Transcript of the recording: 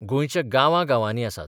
गोंयच्या गांवा गांवांनी आसात.